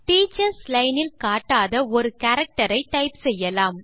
teachers line இல் காட்டாத ஒரு கேரக்டர் ஐ டைப் செய்யலாம்